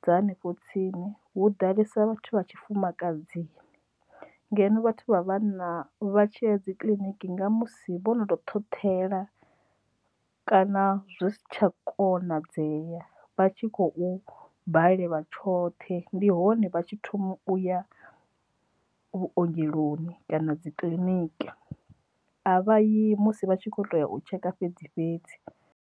dza hanefho tsini hu ḓalesa vhathu vha tshifumakadzi, ngeno vhathu vha vha na vha tshiya dzi kiḽiniki nga musi vho no to ṱhoṱhela kana zwi si tsha konadzeya vha tshi khou balelwa tshoṱhe ndi hone vha tshi thoma u ya vhuongeloni kana dzi kiliniki. A vha yi musi vha tshi kho tea u tsheka fhedzi fhedzi.